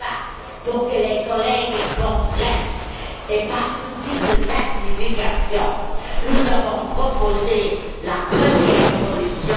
Ainsi, afin que les collègues comprennent, par souci de simplification, nous avons proposé la première solution.